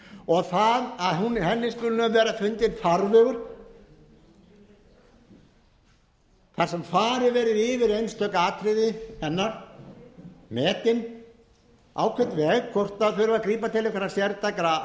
og það að henni skuli hafa verið fundinn farvegur þar sem farið verði yfir einstök atriði hennar metið á hvern veg þurfi að grípa til einhverra sértækra